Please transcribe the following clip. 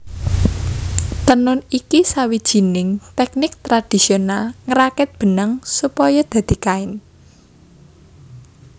Tenun iku sawijining tèknik tradisional ngrakit benang supaya dadi kain